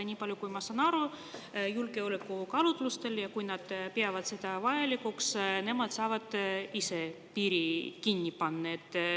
Nii palju, kui ma saan aru, kui nad julgeolekukaalutlustel peavad seda vajalikuks, siis nad saavad ise piiri kinni panna.